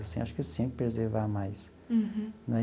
Assim acho que eles tinha que preservar mais. Uhum. Né.